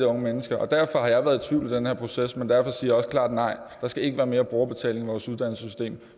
unge mennesker og derfor har jeg været i tvivl i den her proces men derfor siger jeg også klart nej der skal ikke være mere brugerbetaling i vores uddannelsessystem